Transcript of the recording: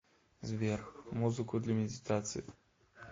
сбер музыку для медитации